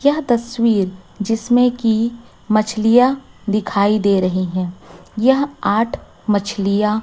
यह तस्वीर जिसमें कि मछलियां दिखाई दे रही हैं यह आठ मछलियां--